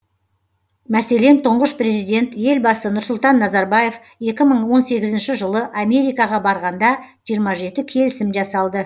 мәселен тұңғыш президент елбасы нұрсұлтан назарбаев екі мың он сегізінші жылы америкаға барғанда жиырма жеті келісім жасалды